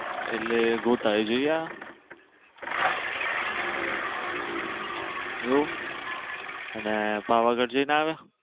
એટલે ગોતા ઈ જઈ આયા એવું અને પાવાગઢ જઈ ને આવ્યા?